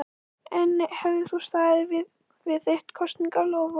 Jóhann Hlíðar Harðarson: En hefðir þú staðið við þitt kosningaloforð?